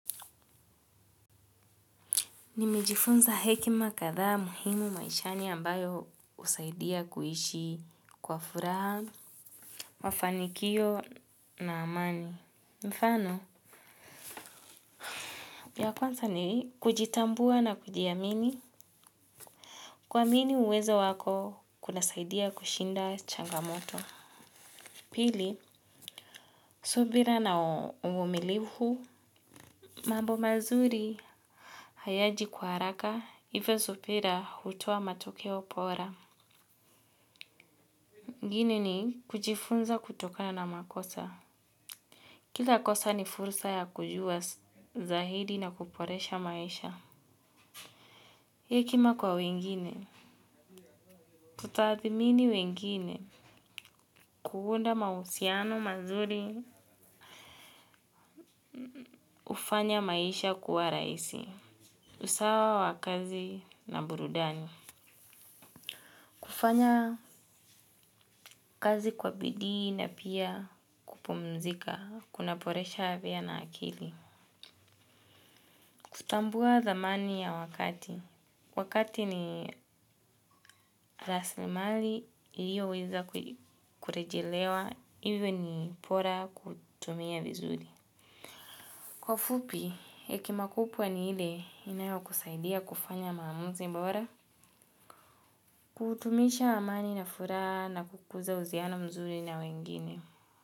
Nimejifunza hekima kadhaa muhimu maishani ambayo husaidia kuishi kwa furaha, mafanikio na amani. Mfano, ya kwanza ni kujitambua na kujiamini. Kuamini uwezo wako kunasaidia kushinda changamoto. Pili, subira na uvumilivu. Mambo mazuri hayaji kwa haraka, hivyo subira hutoa matokeo pora. Ingine ni kujifunza kutokana na makosa. Kila kosa ni fursa ya kujua zaidi na kuporesha maisha. Hekima kwa wengine. Kutathmini wengine. Kuunda mahusiano mazuri. Hufanya maisha kuwa rahisi. Usawa wa kazi na burudani. Kufanya kazi kwa bidii na pia kupumzika. Kunaporesha afya na akili. Kutambua thamani ya wakati. Wakati ni rasilimali iliyoweza kurejelewa, hivyo ni pora kutumia vizuri. Kwa ufupi, hekima kupwa ni ile inayokusaidia kufanya maamuzi bora, kutumisha amani na furaha na kukuza uziano mzuri na wengine.